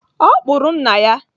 Ọ kpụrụ nna ya.